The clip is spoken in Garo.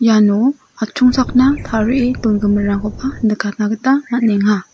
iano atchongchakna tarie dongiminrangkoba nikatna gita man·enga.